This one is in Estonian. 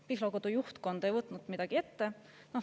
Pihlakodu juhtkond ei võtnud midagi ette.